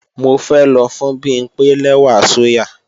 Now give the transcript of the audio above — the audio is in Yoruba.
Mo fẹ́ lọ fún Bimpé lẹ́wà sóyà